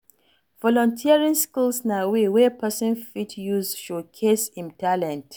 Volunteering skills na way wey person fit use showcase im talent